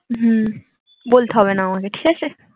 হম বলতে হবে না আমাকে ঠিক আছে